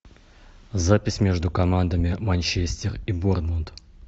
запись между командами манчестер и борнмут